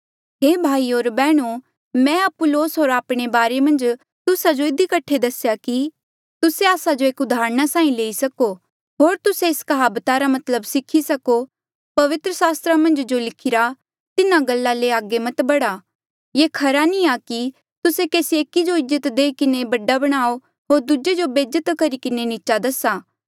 हे भाईयो होर बैहणो मैं अपुल्लोस होर आपणे बारे मन्झ तुस्सा जो इधी कठे दसेया कि तुस्से आस्सा जो एक उदाहरणा साहीं लेई सको होर तुस्से एस कहाबता रा मतलब सीखी सको पवित्र सास्त्रा मन्झ जो लिखिरा तिन्हा गल्ला ले अगे मत बढ़ा ये खरा नी आ कि तुस्से केसी एकी जो इज्जत देई किन्हें बडा बणाओ होर दूजे जो बेज्जत करी किन्हें नीचा दसा